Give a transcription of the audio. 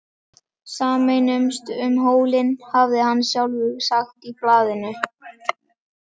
Sameinumst um hólinn, hafði hann sjálfur sagt í blaðinu.